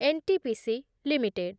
N T P C limited